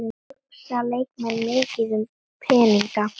Hugsa leikmenn mikið um peninga?